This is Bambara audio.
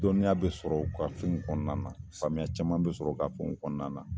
Dɔnniya bɛ sɔrɔ u ka fɛn kɔnɔna na, faamuya caman be sɔrɔ u ka fɛn kɔnɔna na.